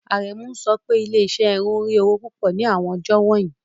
Aremu ń sọ pé ilé-iṣẹ́ irun ń rí owó púpọ̀ ní àwọn ọjọ́ wọ̀nyí.